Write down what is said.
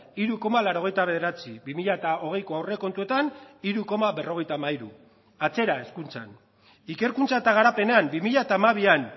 hiru koma laurogeita bederatzi bi mila hogeiko aurrekontuetan hiru koma berrogeita hamairu atzera hezkuntzan ikerkuntza eta garapenean bi mila hamabian